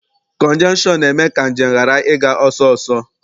Kọnjeshọn na-eme ka njem ghara ịga ọsọsọ.